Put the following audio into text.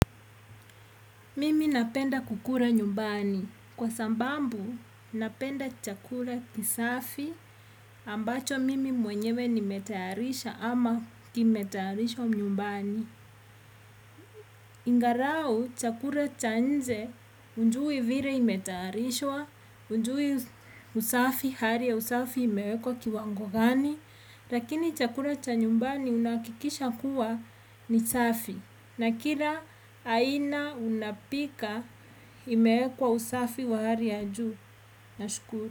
Mimi napenda kukula nyumbani. Kwa sababu, napenda chakula kisafi ambacho mimi mwenyewe nimetayarisha ama kimetayarishwa nyumbani. Ingalau chakula cha nje hujui vile imetayarishwa, hujui usafi, hali ya usafi imewekwa kiwango gani. Lakini chakula cha nyumbani unahakikisha kuwa ni safi, na kila aina unapika imeekwa usafi wa hali ya juu. Nashukuru.